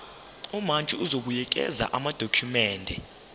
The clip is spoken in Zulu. umantshi uzobuyekeza amadokhumende